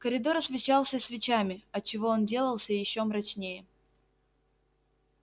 коридор освещался свечами отчего он делался ещё мрачнее